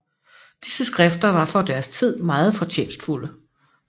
Disse skrifter var for deres tid meget fortjenstfulde